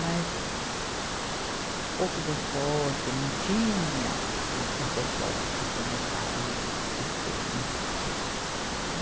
Mas pouco decote, não tinha a os decotes que começaram a ter, né?